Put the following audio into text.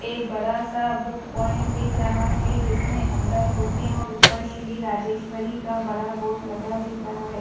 एक बड़ा सा बुक पॉइंट दिख रहा है जिसमे अंदर बूके और ऊपर श्री राजेस्वरी का बड़ा बोर्ड लगा दिख रहा है।